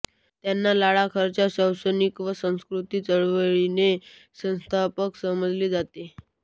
यांना लडाखच्या शैक्षणिक व सांस्कृतिक चळवळीचे संस्थापक समजले जाते